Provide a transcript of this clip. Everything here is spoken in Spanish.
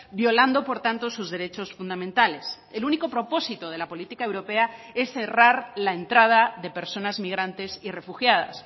violando por tanto sus derechos fundamentales el único propósito de la política europea es cerrar la entrada de personas migrantes y refugiadas